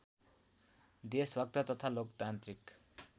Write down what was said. देशभक्त तथा लोकतान्त्रिक